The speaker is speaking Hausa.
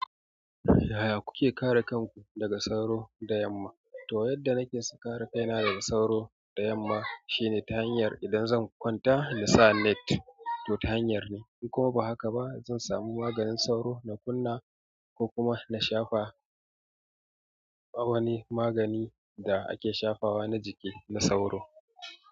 Yaya kuke kare kanku daga sauro da yamma? To, yadda nake sa kare kaina daga sauro da yamma shine ta hanyar idan zan kwanta nasa net. To, ta hanyar ne in kuma ba haka ba zan samu maganin sauro na kunna ko kuma na shafa wani magani da ake shafawa na jiki na sauro.